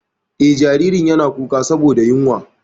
Eh, jaririn yana kuka saboda yunwa.